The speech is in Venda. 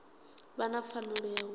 vha na pfanelo ya u